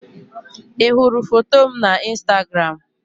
Ị hụrụ foto m na Instagram?